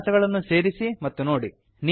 ವಿಳಾಸಗಳನ್ನು ಸೇರಿಸಿ ಮತ್ತು ನೋಡಿ